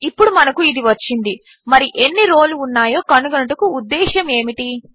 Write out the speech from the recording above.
ఇప్పుడు మనకు ఇది వచ్చింది మరి ఎన్ని రోలు ఉన్నయో కనుగొనుటకు ఉద్దేశ్యము ఏమిటి